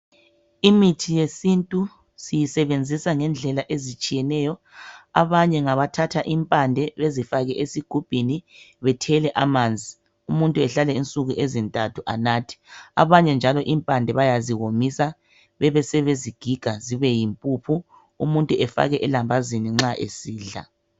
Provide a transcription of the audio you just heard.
Imithi yesintu siyisebenzisa ngendlela ezitshiyeneyo. Abanye ngabathatha impande bezifake ezigumbini bethele amanzi, umuntu ahlale insuku ezintathu anathe. Abanye njalo impande bayaziwomisa besebezigiga zibe yimpuphu umuntu efake elambazini nxa esidla.